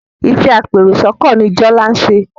Iṣé apẹ èrò sóko ní Jola nṣe.